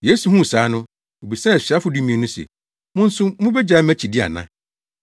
Yesu huu saa no, obisaa asuafo dumien no se, “Mo nso mubegyae mʼakyidi ana?”